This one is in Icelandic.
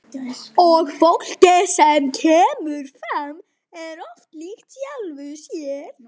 Og fólkið sem kemur fram er oft líkt sjálfu sér.